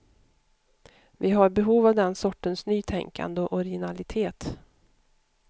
Vi har behov av den sortens nytänkande och originalitet.